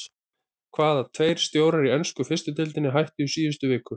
Hvaða tveir stjórar í ensku fyrstu deildinni hættu í síðustu viku?